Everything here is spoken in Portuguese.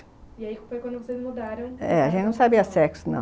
E aí foi quando vocês mudaram... É, a gente não sabia sexo, não.